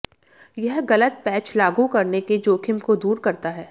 यह गलत पैच लागू करने के जोखिम को दूर करता है